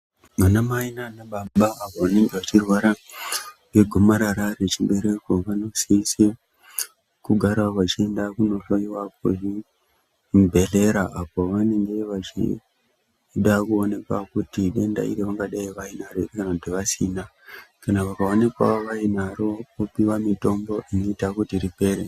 Vanamai nanababa vanenge vachirwara negomarara rechibereko vanosise kugara vachenda kundohoiwa kuchibhedhlera. Apo vanenge vachida kuonekwa kuti idenda ravanga dai vainaro ere, kana kuti vasina kana vakaonekwavo vainaro vopiva mitombo inoita kuti ripere.